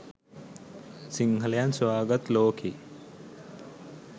සිංහලයන් සොයා ගත් ලෝකෙ